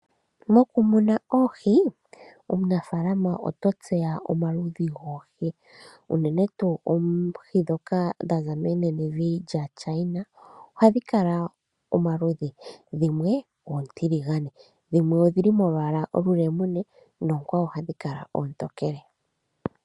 Mokumuna oohi, omunafaalama oto tseya omaludhi goohi, unene tuu oohi ndhoka dha za moshilongo shaChina, ohadhi kala omaludhi. Dhimwe oontiligane, dhimwe odhi li molwaala olulemune, noonkwawo ohadhi kala oontokele.